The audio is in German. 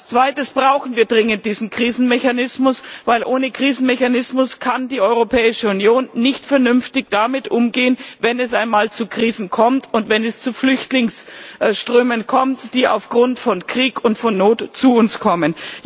Als zweites brauchen wir dringend diesen Krisenmechanismus, denn ohne Krisenmechanismus kann die Europäische Union nicht vernünftig damit umgehen, wenn es einmal zu Krisen kommt, und wenn es zu Flüchtlingsströmen kommt, die aufgrund von Krieg und von Not zu uns kommen.